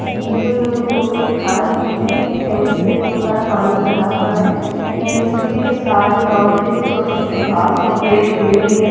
ये कोई इन्होंने फोटो दिखा रखी है यह सेंटर में बहुत सारा पानी भरा हुआ है एंड इसके सारी बाउंड्री पे छोटे-छोटे घास और पेड़ उगे हुए हैं--